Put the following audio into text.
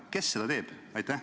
Kes seda teeb?